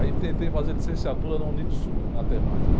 Aí tentei fazer licenciatura na Unicsul, em matemática.